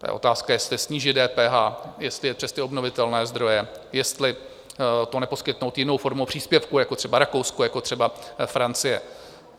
To je otázka, jestli snížit DPH, jestli jet přes ty obnovitelné zdroje, jestli to neposkytnout jinou formou příspěvku, jako třeba Rakousko, jako třeba Francie.